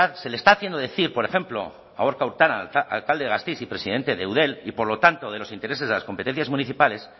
se le está haciendo decir por ejemplo a gorka urtaran alcalde de gasteiz y presidente de eudel y por lo tanto de los intereses de las competencias municipales